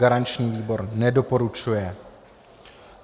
Garanční výbor nedoporučuje.